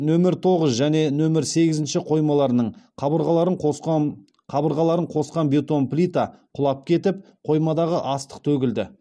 нөмір тоғыз және нөмір сегізінші қоймаларының қабырғаларын қосқан қабырғаларын қосқан бетон плита құлап кетіп қоймадағы астық төгілді